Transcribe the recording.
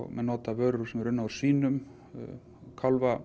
menn nota vörur sem eru unnar úr svínum